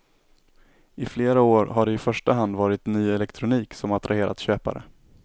I flera år har det i första hand varit ny elektronik som attraherat köpare.